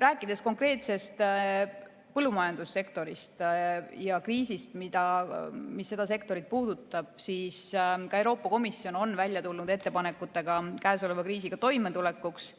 Rääkides konkreetselt põllumajandussektorist ja kriisist, mis seda sektorit puudutab, siis ka Euroopa Komisjon on välja tulnud ettepanekutega käesoleva kriisiga toimetulekuks,